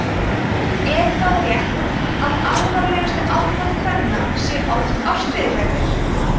er það rétt að alvarlegustu afbrot kvenna séu oftast ástríðuglæpir